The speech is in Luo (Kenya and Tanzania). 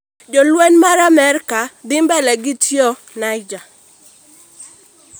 Jolweny ma Amrka dhi mbele gi tiyo Niger